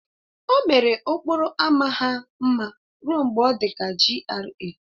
O mere okporo ámá ha mma ruo mgbe ọ dị ka GRA